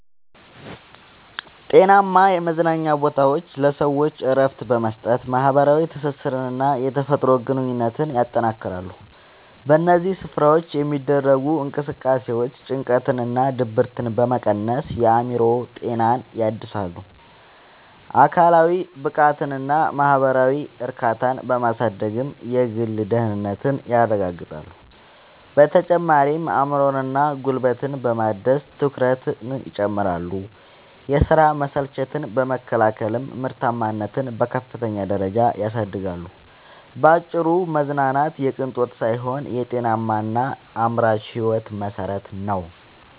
ጤናማ የመዝናኛ ቦታዎች ለሰዎች እረፍት በመስጠት፣ ማኅበራዊ ትስስርንና የተፈጥሮ ግንኙነትን ያጠናክራሉ። በእነዚህ ስፍራዎች የሚደረጉ እንቅስቃሴዎች ጭንቀትንና ድብርትን በመቀነስ የአእምሮ ጤናን ያድሳሉ፤ አካላዊ ብቃትንና ማኅበራዊ እርካታን በማሳደግም የግል ደህንነትን ያረጋግጣሉ። በተጨማሪም አእምሮንና ጉልበትን በማደስ ትኩረትን ይጨምራሉ፤ የሥራ መሰልቸትን በመከላከልም ምርታማነትን በከፍተኛ ደረጃ ያሳድጋሉ። ባጭሩ መዝናናት የቅንጦት ሳይሆን የጤናማና አምራች ሕይወት መሠረት ነው።